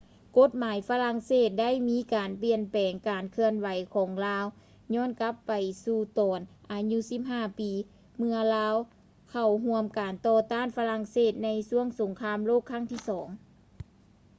ກົດໝາຍຝຣັ່ງເສດໄດ້ມີການປ່ຽນແປງ ການເຄື່ອນໄຫວຂອງລາວຍ້ອນກັບໄປສູ່ຕອນອາຍຸ 15 ປີ ເມື່ອລາວເຂົ້າຮ່ວມການຕໍ່ຕ້ານຝຣັ່ງເສດໃນຊ່ວງສົງຄາມໂລກຄັ້ງທີ ii